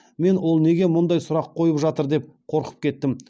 мен ол неге мұндай сұрақ қойып жатыр деп қорқып кеттім